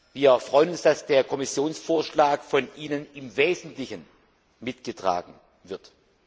Wir freuen uns, dass der Kommissionsvorschlag im Wesentlichen mitgetragen wird.